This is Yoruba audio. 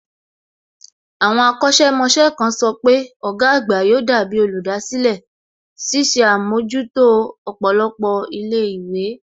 Àwọn akọ̀sẹ̀ mọṣẹ́ kan sọ pé ọ̀gá àgbà yóò dàbí olùdásílẹ̀, ṣiṣẹ́ àmójútó ọ̀pọ̀lọpọ̀ ilé ìwé